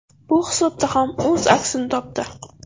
Bu hisobda ham o‘z aksini topdi.